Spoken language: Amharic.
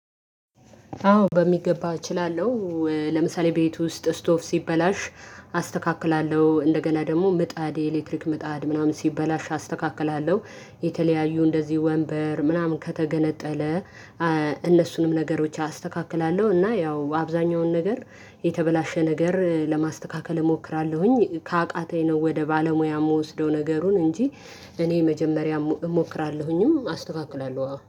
አዎ በሚገባ እችላለሁ ለምሳሌ ቤት ውስጥ ስቶብ ሲበላሽ አስተካክላለሁ እንደገና ደግሞ ምጣድ የኤሌክትሪክ ምጣድ ምናምን ሲበላሽ አስተካክላለሁ የተለያዩ እንደዚህ ወንበር ምናምን ከተገነጠለ እነሱንም ነገሮች አስተካክላለሁ። እና ያው አብዛኛውን ነገር የተበላሸ ነገር ለማስተካከል እሞክራለሁኝ ከአቃተኝ ነው ወደ ባለሙያ እምወስደው ነገሩን እንጂ እኔ መጀመሪያ እሞክራለሁኝም አስተካክላለሁ